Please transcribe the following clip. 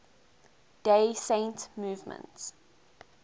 day saint movement